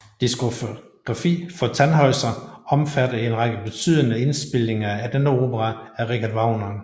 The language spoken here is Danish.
Diskografi for Tannhäuser omfatter en række betydende indspilninger af denne opera af Richard Wagner